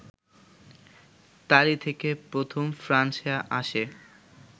তালী থেকে প্রথম ফ্রান্সে আসে